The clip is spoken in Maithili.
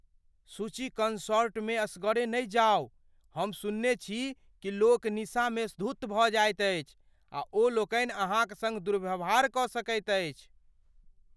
सुचि, कॉन्सर्टमे एकसरे नहि जाउ। हम सुनने छी कि लोक निस्सा मे धुत भऽ जाएत अछि आ ओ लोकनि अहाँक सङ्ग दुर्व्यवहार कऽ सकैत अछि।